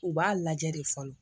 U b'a lajɛ de fɔlɔ